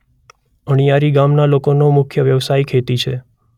અણીયારી ગામના લોકોનો મુખ્ય વ્યવસાય ખેતી છે.